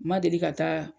Ma deli ka taa